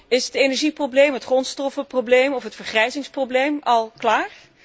Is het energieprobleem, het grondstoffenprobleem of het vergrijzingsprobleem al opgelost?